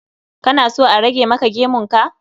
Kana so a rage maka gemun ka?